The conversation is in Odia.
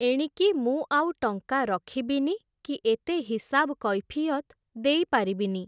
ଏଣିକି ମୁଁ ଆଉ ଟଙ୍କା ରଖିବିନି କି ଏତେ ହିସାବ୍ କୈଫିୟତ୍ ଦେଇ ପାରିବିନି ।